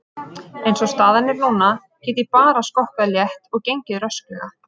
Eins og staðan er núna get ég bara skokkað létt og gengið rösklega.